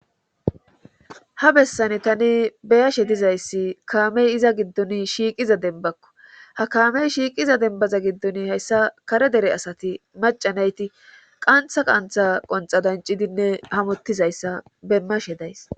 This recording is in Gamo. ha bessane tani beyashe dizayssi kaamey iza giddon shiiqiza denbakko ha kaamey shiiqiza denbaza giddon hayssa kare dere asati macanayti qantha qantha qonxa dancidinne hamuttizayssa demmashe days